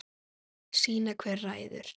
Sýna hver ræður.